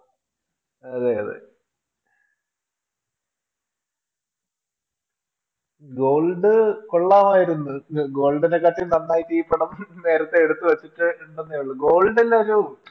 അതെ അതെ, Gold കൊള്ളാമായിരുന്നു Gold നെക്കാട്ടിൽ നന്നായിട്ട് ഈ പടം നേരത്തെ എടുത്തുവച്ചിട്ട് ഉണ്ടന്നേയുള്ളു. Gold ന് ഒരു